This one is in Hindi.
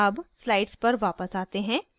अब slides पर वापस आते हैं